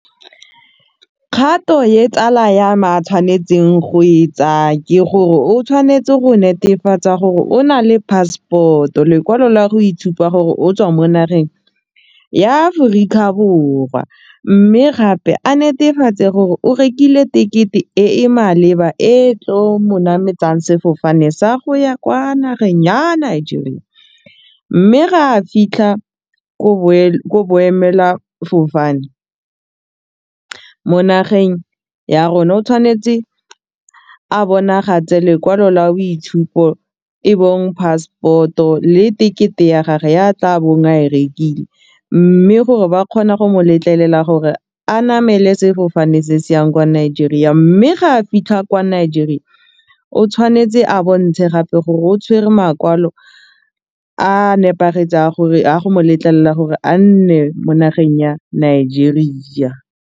Kgato ye tsala yame a tshwanetseng go e tsaya ke gore o tshwanetse go netefatsa gore o na le passport-o lekwalo la go itshupa gore o tswa mo nageng ya Aforika Borwa mme gape a netefatse gore o rekile tekete e e maleba e tlo mo nametsang sefofane sa go ya kwa nageng ya Nigeria mme ga fitlha ko boemelafofane mo nageng ya rona o tshwanetse a bonagatse lekwalo la boitshupo e bong passport-o le tekete ya gage ya tla bong a e rekile mme gore ba kgona go mo letlelela gore a namele sefofane se se yang kwa Nigeria mme ga a fitlha kwa Nigeria o tshwanetse a bontshe gape gore o tshwere makwalo a nepagetseng a gore a go mo letlelela gore a nne mo nageng ya Nigeria.